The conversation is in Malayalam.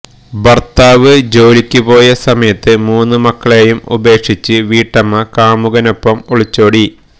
ഭര്ത്താവ് ജോലിയ്ക്ക് പോയ സമയത്ത് മൂന്ന് മക്കളേയും ഉപേക്ഷിച്ച് വീട്ടമ്മ കാമുകനൊപ്പം ഒളിച്ചോടി